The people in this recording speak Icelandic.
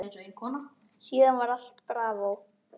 Síðan var allt bravó.